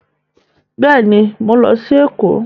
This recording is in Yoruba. Bẹ́ẹ̀ni, mọ ń lọ sí Èkó